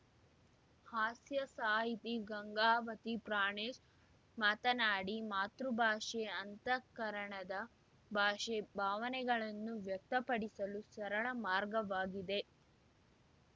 ಹಾಸ್ಯ ಸಾಹಿತಿ ಗಂಗಾವತಿ ಪ್ರಾಣೇಶ್‌ ಮಾತನಾಡಿ ಮಾತೃಭಾಷೆ ಅಂತಃಕರಣದ ಭಾಷೆ ಭಾವನೆಗಳನ್ನು ವ್ಯಕ್ತಪಡಿಸಲು ಸರಳ ಮಾರ್ಗವಾಗಿದೆ